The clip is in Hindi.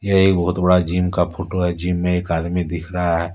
यह एक बहुत बड़ा जिम का फोटो है जिम में एक आदमी दिख रहा है।